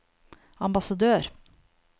ambassadør